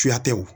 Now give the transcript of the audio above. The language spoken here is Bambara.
Suya tɛ o